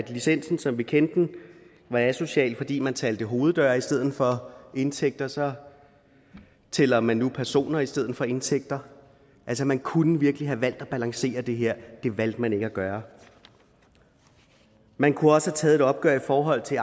licensen som vi kendte den var asocial fordi man talte hoveddøre i stedet for indtægter så tæller man nu personer i stedet for indtægter altså man kunne virkelig have valgt at balancere det her det valgte man ikke at gøre man kunne også have taget et opgør i forhold til